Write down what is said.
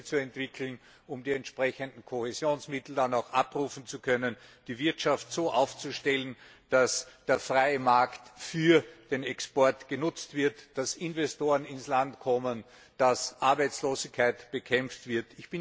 Projekte zu entwickeln, um die entsprechenden Kohäsionsmittel auch abrufen zu können, die Wirtschaft so aufzustellen, dass der freie Markt für den Export genutzt wird, dass Investoren ins Land kommen, dass Arbeitslosigkeit bekämpft wird.